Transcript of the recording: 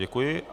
Děkuji.